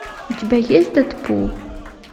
у тебя есть дэдпул